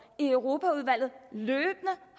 i europaudvalget løbende